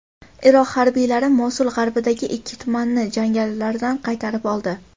Iroq harbiylari Mosul g‘arbidagi ikki tumanni jangarilardan qaytarib oldi.